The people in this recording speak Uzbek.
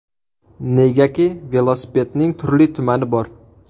Negaki, velosipedning turli-tumani bor.